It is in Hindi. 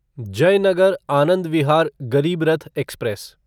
जयनगर आनंद विहार गरीब रथ एक्सप्रेस